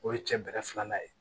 O ye cɛ bɛrɛ filanan ye